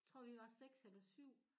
Tror vi var 6 eller 7